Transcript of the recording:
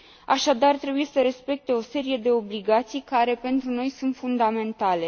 Așadar, trebuie să respecte o serie de obligații care, pentru noi, sunt fundamentale.